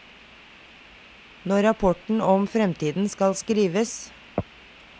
Når rapporten om fremtiden skal skrives.